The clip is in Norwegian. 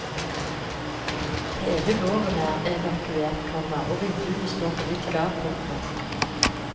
Hele gården er evakuert, komma og vinduene står på vidt gap. punktum